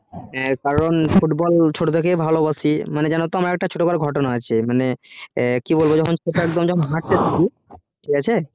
যে কারণ football ছোট থেকে খেলতে ভালো বাসি জানতো আমার ছোটো বেলার একটা ঘটনা আছে মানে কি আর বলবো ছোটো একদম হাটতে শিখি ঠিক আছে